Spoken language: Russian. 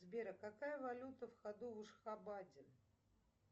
сбер а какая валюта в ходу в ашхабаде